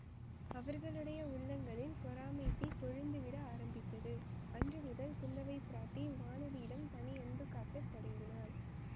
அவர்களுடைய உள்ளங்களில் பொறாமைத் தீ கொழுந்து விட ஆரம்பித்தது அன்று முதல் குந்தவை பிராட்டி வானதியிடம் தனி அன்பு காட்டத் தொடங்கினாள்